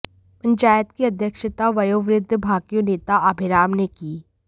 पंचायत की अध्यक्षता वयोवृद्ध भाकियू नेता आभेराम ने की